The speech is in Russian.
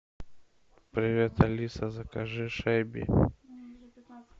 привет алиса закажи шеби